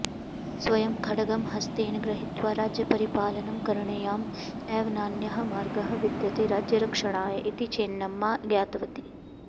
स्वयं खड्गं हस्तेन गृहीत्वा राज्यपरिपालनं करणीयम् एव नान्यः मार्गः विद्यते राज्यरक्षणाय इति चेन्नम्मा ज्ञातवती